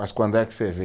Mas quando é que você vê?